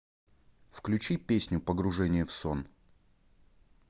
включи песню погружение в сон